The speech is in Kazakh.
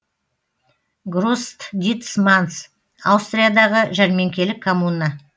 гросдитсманс аустриядағы жәрмеңкелік коммуна